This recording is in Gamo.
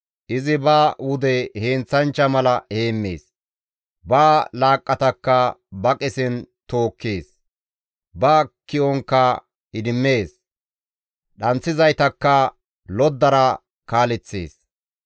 Izi ba wude heenththanchcha mala heemmees; ba laaqqatakka ba qesen tookkees; ba ki7onkka idimmees; dhanththizaytakka loddara kaaleththees.